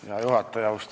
Hea juhataja!